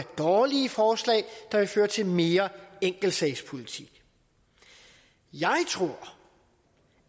dårlige forslag der vil føre til mere enkeltsagspolitik jeg tror